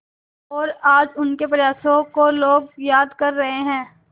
और आज उनके प्रयासों को लोग याद कर रहे हैं